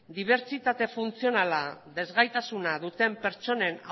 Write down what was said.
dibertsitatea funtzionala ezgaitasuna duten pertsonen